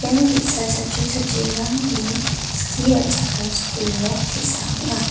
ian ge·sa chatro chatrirangni skie ra·chakram skul nok te·sa ong·a.